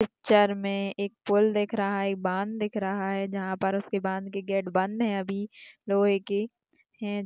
Picture मे एक फूल दिख रहा एक बान दिख रहा है जहा पर उसके बाद भी गेट बंद है अभी लोहे की है।